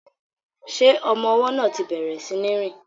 Ṣé ọmọ ọwọ́ náà ti bẹ̀rẹ̀ sí ní rìn?